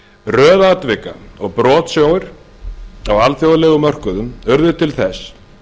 röð atvika og brotsjóir á alþjóðlegum mörkuðum urðu til þess